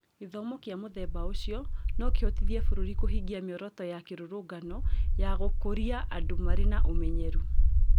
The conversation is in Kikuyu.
Gĩthomo kĩa mũthemba ũcio no kĩhotithie bũrũri kũhingia mĩoroto ya kĩrũrũngano ya gũkũria andũ marĩ na ũmenyeru.